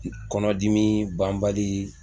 Kɔnɔdimi banbali